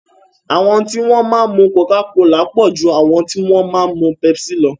Àwọn tí wọ́n máa mu coca-cola pọ̀ ju àwọn tí wọ́n máa mu pepsi lọ.